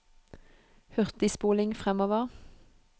hurtigspoling fremover